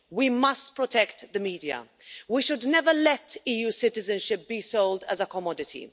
We must protect the media. We should never let EU citizenship be sold as a commodity.